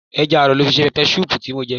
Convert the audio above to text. Ẹja aro lọ fi ṣe peppersoup tí mo jẹ.